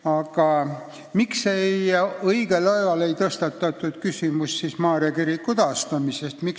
Aga miks õigel ajal ei tõstatatud küsimust Maarja kiriku taastamisest?